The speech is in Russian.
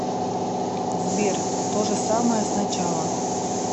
сбер то же самое с начала